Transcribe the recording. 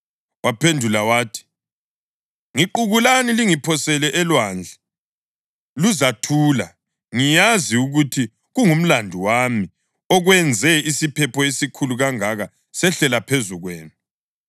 Waphendula wathi, “Ngiqukulani lingiphosele elwandle, luzathula. Ngiyazi ukuthi kungumlandu wami okwenze isiphepho esikhulu kangaka sehlela phezu kwenu.”